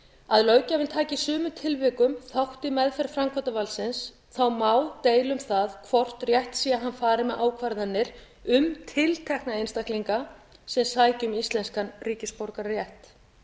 að löggjafinn taki í sumum tilvikum þátt í meðferð framkvæmdarvaldsins þá má deila um hvort rétt sé að hann fari með ákvarðanir um tiltekna einstaklinga sem sækja um íslenskan ríkisborgararétt